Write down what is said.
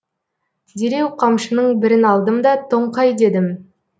дереу қамшының бірін алдым да тоңқай дедім